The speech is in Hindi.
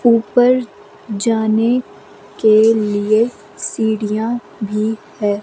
ऊपर जाने के लिए सीढ़ियां भी है।